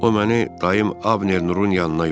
O məni dayım Abner Nurun yanına yollayıb.